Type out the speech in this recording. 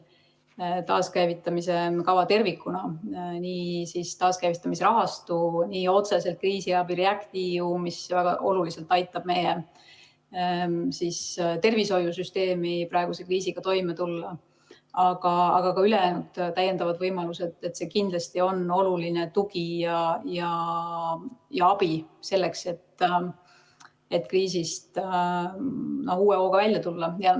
Nii taaskäivitamise kava tervikuna, nii taaskäivitamise rahastu, otseselt kriisiabi REACT-EU, mis väga oluliselt aitab meie tervishoiusüsteemil praeguse kriisiga toime tulla, kui ka ülejäänud võimalused on kindlasti oluline tugi ja abi selleks, et kriisist uue hooga välja tulla.